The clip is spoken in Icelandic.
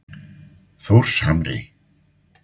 Þórshamri